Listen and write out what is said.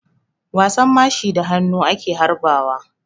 Wasan mashi da hannu ake harba wa.